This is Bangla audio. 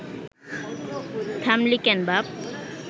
থামলি কেন বাপ